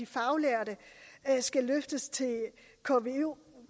faglærte skal løftes til